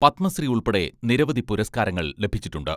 പത്മശ്രീ ഉൾപ്പെടെ നിരവധി പുരസ്കാരങ്ങൾ ലഭിച്ചിട്ടുണ്ട്.